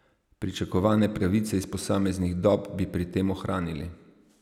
Pričakovane pravice iz posameznih dob bi pri tem ohranili.